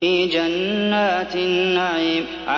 فِي جَنَّاتِ النَّعِيمِ